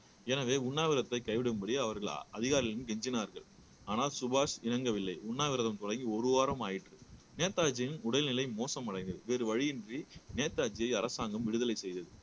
எனவே உண்ணாவிரதத்தை கைவிடும்படி அவர்கள் அதிகாரிகளும் கெஞ்சினார்கள் ஆனால் சுபாஷ் இறங்கவில்லை உண்ணாவிரதம் தொடங்கி ஒரு வாரம் ஆயிற்று நேதாஜியின் உடல்நிலை மோசமடைந்தது வேறு வழியின்றி நேதாஜியை விடுதலை செய்தது